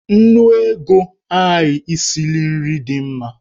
Nnu ego agaghị esili nri dị mma.